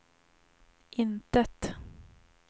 intet